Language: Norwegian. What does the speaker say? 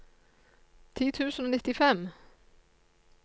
ti tusen og nittifem